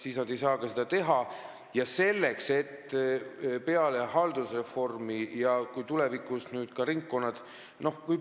Aga olen algatanud mitu protsessi, et peale haldusreformi, st tulevikus ringkonnad paika saaksid.